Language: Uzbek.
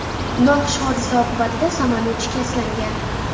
Noxush hodisa oqibatida samolyot shikastlangan.